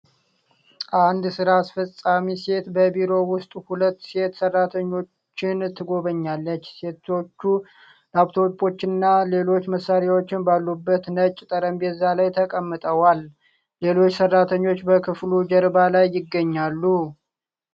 አንድ ሥራ አስፈጻሚ ሴት በቢሮ ውስጥ ሁለት ሴት ሠራተኞችን ትጎበኛለች። ሴቶቹ ላፕቶፖችና ሌሎች መሣሪያዎች ባሉበት ነጭ ጠረጴዛ ላይ ተቀምጠዋል። ሌሎች ሰራተኞች በክፍሉ ጀርባ ላይ ይገኛሉ።